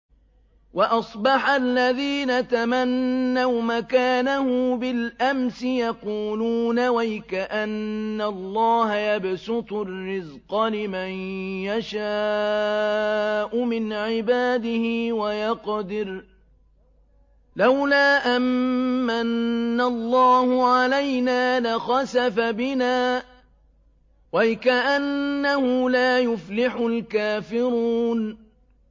وَأَصْبَحَ الَّذِينَ تَمَنَّوْا مَكَانَهُ بِالْأَمْسِ يَقُولُونَ وَيْكَأَنَّ اللَّهَ يَبْسُطُ الرِّزْقَ لِمَن يَشَاءُ مِنْ عِبَادِهِ وَيَقْدِرُ ۖ لَوْلَا أَن مَّنَّ اللَّهُ عَلَيْنَا لَخَسَفَ بِنَا ۖ وَيْكَأَنَّهُ لَا يُفْلِحُ الْكَافِرُونَ